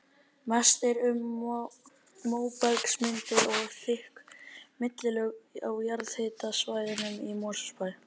Mest er um móbergsmyndanir og þykk millilög á jarðhitasvæðunum í Mosfellsbæ.